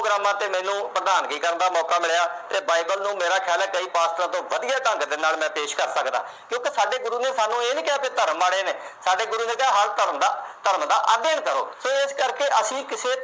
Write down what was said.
ਕਿਸੇ program ਤੇ ਮੈਨੂੰ ਪ੍ਰਧਾਨਗੀ ਕਰਨ ਦਾ ਮੌਕਾ ਮਿਲਿਆ ਤੇ Bible ਨੂੰ ਮੇਰਾ ਖਿਆਲ ਆ ਮੈਂ pastors ਤੋਂ ਵਧੀਆ ਢੰਗ ਦੇ ਨਾਲ ਮੈਂ ਪੇਸ਼ ਕਰ ਸਕਦਾ ਕਿਉਂਕਿ ਸਾਡੇ ਗੁਰੂ ਨੇ ਸਾਨੂੰ ਇਹ ਨੀ ਕਿਹਾ ਕਿ ਧਰਮ ਮਾੜੇ ਨੇ। ਸਾਡੇ ਗੁਰੂ ਨੇ ਕਿਹਾ ਹਰ ਧਰਮ ਦਾ ਅਹ ਧਰਮ ਦਾ ਆਦਰ ਕਰੋ। so ਇਸ ਕਰਕੇ ਅਸੀਂ